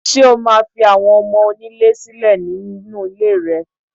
Ṣé o máa fi àwọn ọmọ onílé sílẹ̀ nínú iléè rẹ?